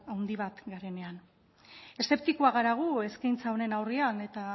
handi bat garenean eszeptikoak gara gu eskaintza honen aurrean eta